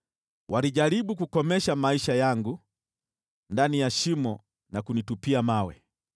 Walijaribu kukomesha maisha yangu ndani ya shimo na kunitupia mawe;